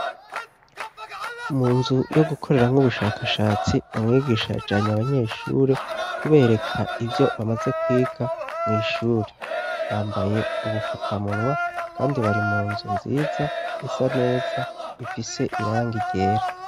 Mu nzu yo gukoreramwo ubushakashatsi, umwigisha yajanye abanyeshuri kubereka ivyo bamaze kwiga mw'ishure. Bambaye ubufukamunwa kandi bari mu nzu nziza isa neza ifise irangi ryera.